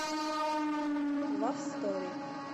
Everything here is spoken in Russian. лав стори